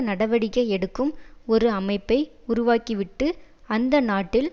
நடவடிக்கை எடுக்கும் ஒரு அமைப்பை உருவாக்கிவிட்டு அந்த நாட்டில்